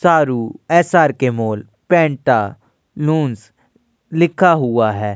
सारू SRK. Mall Pantaloons लिखा हुआ है।